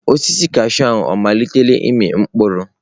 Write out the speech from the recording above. Osisi kashụụ ahụ ọ malitela ịmị mkpụrụ?